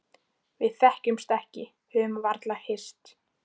Við þekkjumst ekki, höfum varla hist.